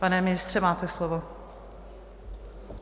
Pane ministře, máte slovo.